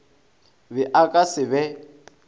be a ka se be